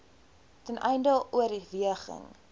ten einde oorweging